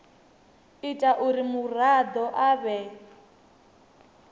ita uri muraḓo a vhe